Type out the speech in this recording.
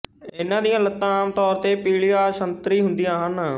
ਇਨ੍ਹਾਂ ਦੀਆਂ ਲੱਤਾਂ ਆਮ ਤੌਰ ਤੇ ਪੀਲੀਆਂਸੰਤਰੀ ਹੁੰਦੀਆਂ ਹਨ